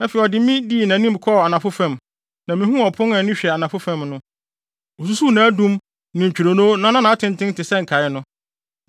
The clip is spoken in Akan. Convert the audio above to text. Afei odii mʼanim de me kɔɔ anafo fam, na mihuu ɔpon a ani hwɛ anafo fam no. Osusuw nʼadum ne ntwironoo na na nʼatenten te sɛ nkae no.